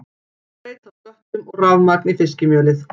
Breyta sköttum og rafmagn í fiskimjölið